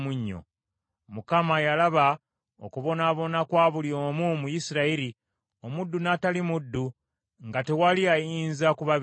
Mukama yalaba okubonaabona kwa buli omu mu Isirayiri, omuddu n’atali muddu, nga tewali ayinza ku babeera.